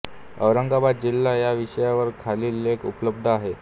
औरंगाबाद जिल्हा या विषयावर खालील लेख उपलब्ध आहेत